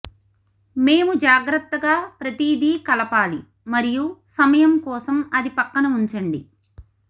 మేము జాగ్రత్తగా ప్రతిదీ కలపాలి మరియు సమయం కోసం అది పక్కన ఉంచండి